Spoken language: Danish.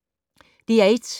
DR1